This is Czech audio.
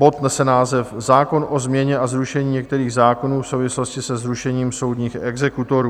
Bod nese název Zákon o změně a zrušení některých zákonů v souvislosti se zrušením soudních exekutorů.